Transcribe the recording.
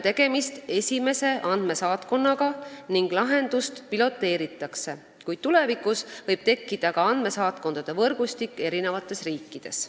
Tegemist on esimese andmesaatkonnaga ning seda lahendust piloteeritakse, kuid tulevikus võib tekkida ka andmesaatkondade võrgustik eri riikides.